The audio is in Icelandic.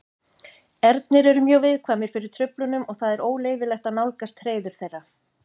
Ernir eru mjög viðkvæmir fyrir truflunum og það er óleyfilegt að nálgast hreiður þeirra.